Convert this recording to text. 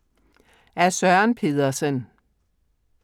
Af Søren Pedersen